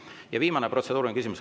Ja viimane protseduuriline küsimus.